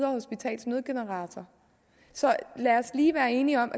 hospitals nødgenerator så lad os lige være enige om